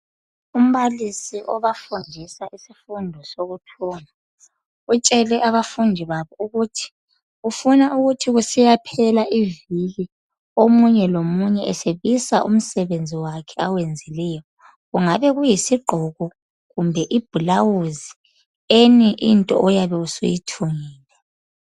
Umbalisi obafundisa isifundo sokuthunga utshele abafundi bakhe ukuthi ufuna kuthi kusiya phela iviki omunye lomunye esebisa umsebenzi wakhe owenzileyo kungabe kuyisigqoko kumbe iblouse loba yini oyabe usuyithungile.